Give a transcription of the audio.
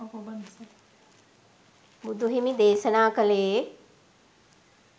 බුදුහිමි දේශනා කළේ